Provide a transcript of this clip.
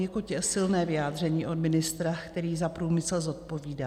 Poněkud silné vyjádření od ministra, který za průmysl zodpovídá!